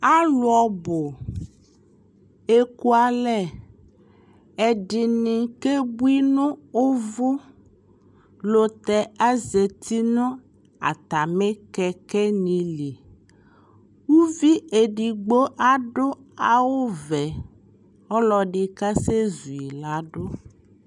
Alu ɔbu eku alɛ, ɛdi ni ke bui nu uʊu lutɛ azeti nu atami kɛkɛ lɩni Uʋi edigbo adu awu ʋɛ Ɔlɔ di ka sɛ zu'i ladu